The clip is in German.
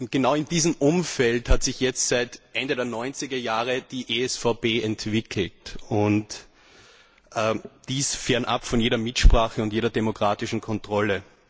Genau in diesem Umfeld hat sich jetzt seit Ende der 90er Jahre die ESVP entwickelt, und dies fernab von jeder Mitsprache und jeder demokratischen Kontrolle.